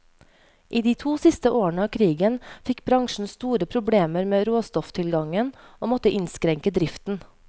I de to siste årene av krigen fikk bransjen store problemer med råstofftilgangen, og måtte innskrenke driften.